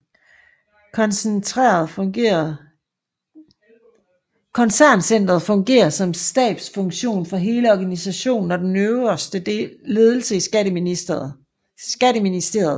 Koncerncentret fungerer som stabsfunktion for hele organisationen og den øverste ledelse i Skatteministeriet